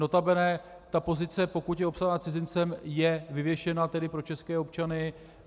Notabene ta pozice, pokud je obsazena cizincem, je vyvěšena tedy pro české občany.